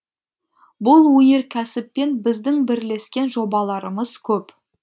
бұл өнеркәсіппен біздің бірлескен жобаларымыз көп